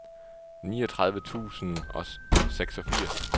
niogtredive tusind og seksogfirs